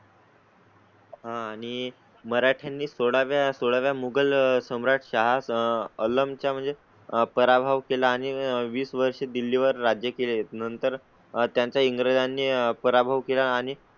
हां आणि मराठ्यां नी सोळा व्या सोळा मुगल सम्राट शाह आलम च्या म्हणजे पराभव केला आणि वीस वर्ष दिल्ली वर राज्य केले आहेत. नंतर त्यांचा इंग्रजां नी पराभव केला आणि